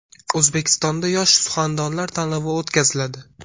O‘zbekistonda yosh suxandonlar tanlovi o‘tkaziladi.